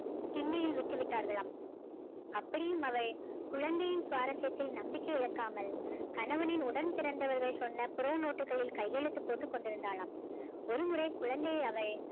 திண்ணையில் விட்டு விட்டார்களாம் அப்படியும் அவள் குழந்தையின் சுவாரஸ்யத்தில் நம்பிக்கை இழக்காமல் கணவனின் உடன்பிறந்தவர்கள் சொன்ன புற நோட்டுக்களில் கையெழுத்து போட்டுக்கொண்டிருந்தாளாம் ஒருமுறை குழந்தையை அவள்